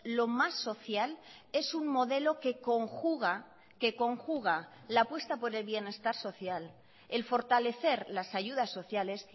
lo más social es un modelo que conjuga que conjuga la apuesta por el bienestar social el fortalecer las ayudas sociales